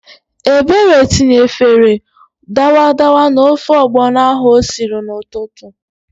Ebere tinyefere dawadawa n'ofe ọgbọnọ ahụ o siri n'ụtụtụ.